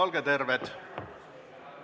Olge terved!